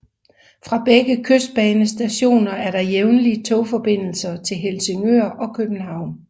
Fra begge kystbanestationer er der jævnligt togforbindelser til Helsingør og København